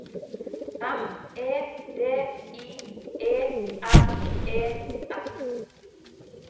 M E D I E N E S